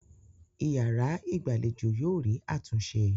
Ìyàrá-ìgbàlejò yóò rí àtúnṣe.